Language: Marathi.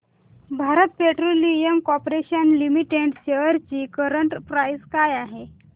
Bharat petroleum corporation limited shares ची करंट प्राइस काय आहे